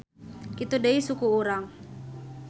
Kitu deui suku urang.